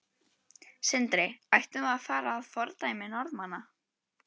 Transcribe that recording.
Sindri: Ættum við að fara að fordæmi Norðmanna?